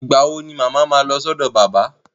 Ìgbà wo ni mama ma lọ sọ́dọ̀ bàbá?